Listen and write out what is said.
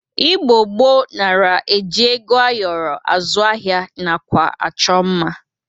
Igbo gboo nara e ji ego ayọrọ azụ ahịa nakwa achọ mma.